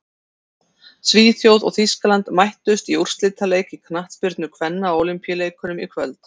Svíþjóð og Þýskaland mættust í úrslitaleik í knattspyrnu kvenna á Ólympíuleikunum í kvöld.